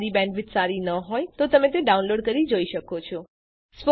જો તમારી બેન્ડવિડ્થ સારી ન હોય તો તમે ડાઉનલોડ કરી તે જોઈ શકો છો